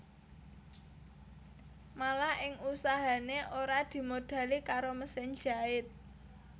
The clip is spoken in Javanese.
Malah ing usahané ora dimodhali karo mesin jait